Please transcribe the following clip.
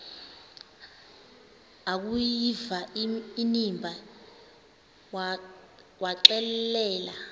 akuyiva inimba waxelela